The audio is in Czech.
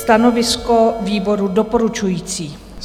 Stanovisko výboru: doporučující.